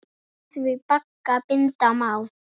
Með því bagga binda má.